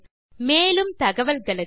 மேற்கொண்டு விவரங்கள் வலைத்தளத்தில் கிடைக்கும்